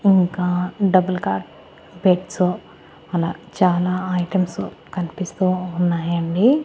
ఇంకా double cot beds అలా చాలా ఐటమ్స్ కన్పిస్తూ ఉన్నాయండి.